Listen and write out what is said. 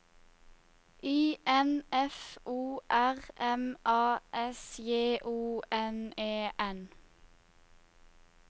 I N F O R M A S J O N E N